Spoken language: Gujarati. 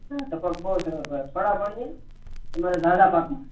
બવ ટપક બવ સરસ હોય છે જાડા પાક ની તો